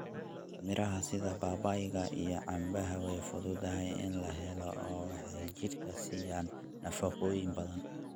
Miraha sida babayga iyo canbaha way fududahay in la helo oo waxay jidhka siiyaan nafaqooyin badan.